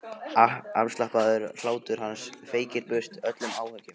Afslappaður hlátur hans feykir burt öllum áhyggjum.